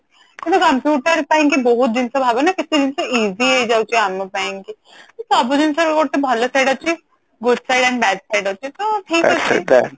ଆମେ computer ପାଇଁ କି ବହୁତ ଜିନିଷ ଭାବୁ ନା କେତେ ଜିନିଷ easy ହେଇ ଯାଉଛି ଆମ ପାଇଁ ସବୁ ଜିନିଷ ରେ ଗୋଟେ ଭଲ side ଅଛି good side and bad side ଅଛି ତ ଠିକ ଅଛି